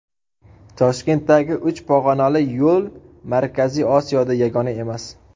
Toshkentdagi uch pog‘onali yo‘l Markaziy Osiyoda yagona emas.